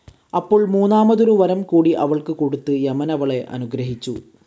അപ്പോൾ മൂന്നാമതൊരു വരംകൂടി അവൾക്ക് കൊടുത്ത് യമനവളെ അനുഗ്രഹിച്ചു.